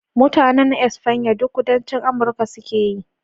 Mutanen Espanya duk Kudancin Amurka su ke yi